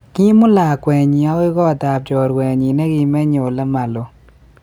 Koimut lakwenyi agoi kot ab chorwenyi negimeche ole ma loo